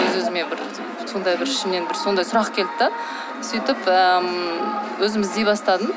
өз өзіме бір сондай бір ішімнен бір сондай сұрақ келді де сөйтіп ііі өзім іздей бастадым